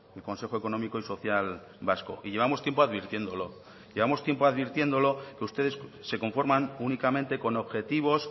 el consejo económico y social vasco y llevamos tiempo advirtiéndolo llevamos tiempo advirtiéndolo que ustedes se conforman únicamente con objetivos